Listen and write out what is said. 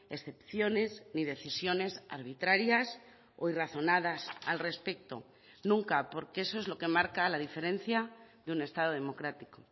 excepciones ni decisiones arbitrarias o irrazonadas al respecto nunca porque eso es lo que marca la diferencia de un estado democrático